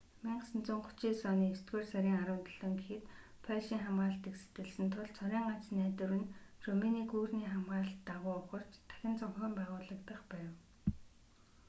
1939 оны есдүгээр сарын 17 гэхэд польшийн хамгаалалтыг сэтэлсэн тул цорын ганц найдвар нь румыны гүүрний хамгаалалт дагуу ухарч дахин зохион байгуулагдах байв